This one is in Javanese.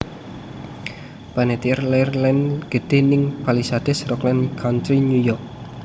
Panettiere lair lan gedhe ning Palisades Rockland Country New York